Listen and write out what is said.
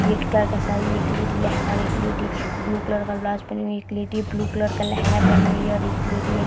एक एक लेडी लहंगा और एक लेडी ब्लू कलर का ब्लाउज पहनी हुई है। एक लेडी ब्लू कलर का लहंगा पहनी हुई है और एक लेडी है।